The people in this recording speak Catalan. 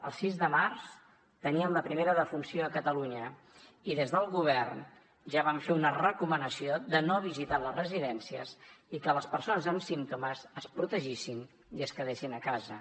el sis de març teníem la primera defunció a catalunya i des del govern ja vam fer una recomanació de no visitar les residències i que les persones amb símptomes es protegissin i es quedessin a casa